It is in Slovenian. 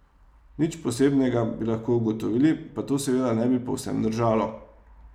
Nič posebnega, bi lahko ugotovili, pa to seveda ne bi povsem držalo.